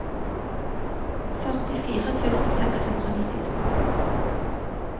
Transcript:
førtifire tusen seks hundre og nittito